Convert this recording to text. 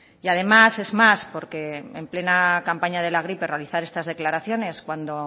y además es más porque en plena campaña de la gripe realizar estas declaraciones cuando